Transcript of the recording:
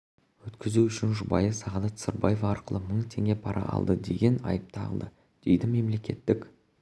өткізу үшін жұбайы сағадат сырбаева арқылы мың теңге пара алды деген айып тағылды дейді мемлекеттік